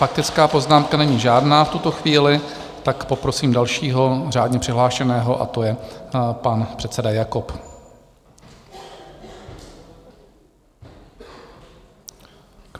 Faktická poznámka není žádná v tuto chvíli, tak poprosím dalšího řádně přihlášeného, a to je pan předseda Jakob.